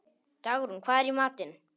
Dagrún, hvað er í matinn?